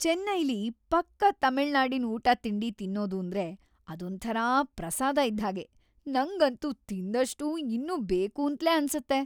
ಚೈನ್ನೈಲಿ ಪಕ್ಕಾ ತಮಿಳ್ನಾಡಿನ್ ಊಟ-ತಿಂಡಿ ತಿನ್ನೋದೂಂದ್ರೆ ಅದೊಂಥರ ಪ್ರಸಾದ ಇದ್ಹಾಗೆ, ನಂಗಂತೂ ತಿಂದಷ್ಟೂ ಇನ್ನೂ ಬೇಕೂಂತ್ಲೇ ಅನ್ಸತ್ತೆ.